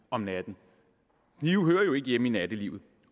om natten knive hører jo ikke hjemme i nattelivet